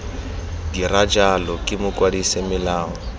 dira jalo ke mokwadise melao